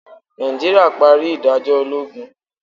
Naijiria pari idajọ ologun.